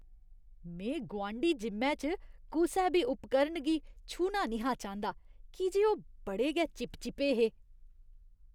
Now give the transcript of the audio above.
में गुआंढी जिम्मै च कुसै बी उपकरण गी छूह्ना निं हा चांह्दा की जे ओह् बड़े गै चिपचिपे हे ।